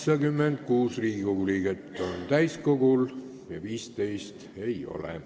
Kohaloleku kontroll Täiskogul on kohal 86 Riigikogu liiget ja 15 ei ole.